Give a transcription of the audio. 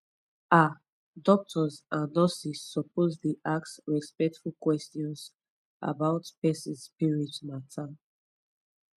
ah doctors and nurses suppose dey ask respectful questions about person spirit matter